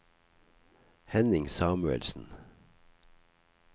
Henning Samuelsen